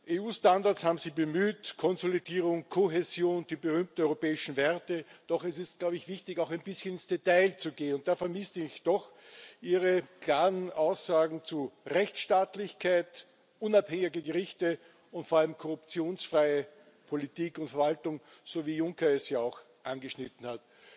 EU Standards haben Sie bemüht Konsolidierung, Kohäsion, die berühmten europäischen Werte. Doch es ist, glaube ich wichtig, auch ein bisschen ins Detail zu gehen und da vermisse ich doch Ihre klaren Aussagen zu Rechtsstaatlichkeit, unabhängigen Gerichten und vor allem korruptionsfreien Politik und Verwaltung, so wie Herr Juncker es ja auch angeschnitten hat.